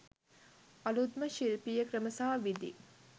අලුත්ම ශිල්පීය ක්‍රම සහ විධි.